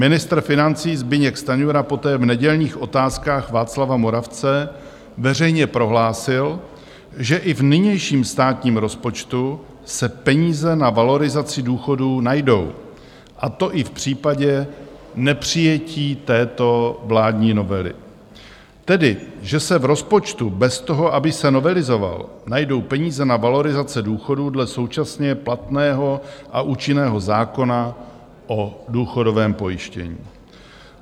Ministr financí Zbyněk Stanjura poté v nedělních Otázkách Václava Moravce veřejně prohlásil, že i v nynějším státním rozpočtu se peníze na valorizaci důchodů najdou, a to i v případě nepřijetí této vládní novely, tedy že se v rozpočtu bez toho, aby se novelizoval, najdou peníze na valorizace důchodů dle současně platného a účinného zákona o důchodovém pojištění.